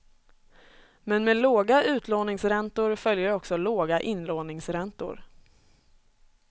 Men med låga utlåningsräntor följer också låga inlåningsräntor.